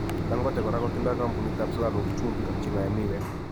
Dangote kora kotindoi kampunit ab sukaruk, chumbik ak cheng'ae miwek.